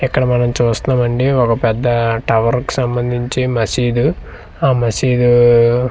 ఇక్కడ మనం చూస్తున్నామండి ఒక పెద్దా టవర్ కు సంభంధించి మసీదు ఆ మసీదూ--